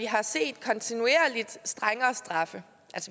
har set strengere straffe